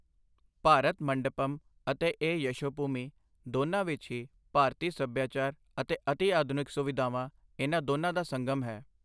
ਭਾਰਤ ਮੰਡਪਮ ਅਤੇ ਇਹ ਯਸ਼ੋਭੂਮੀ, ਦੋਨਾਂ ਵਿੱਚ ਹੀ ਭਾਰਤੀ ਸਭਿਆਚਾਰ ਅਤੇ ਅਤਿਆਧੁਨਿਕ ਸੁਵਿਧਾਵਾਂ, ਇਨ੍ਹਾਂ ਦੋਨਾਂ ਦਾ ਸੰਗਮ ਹੈ।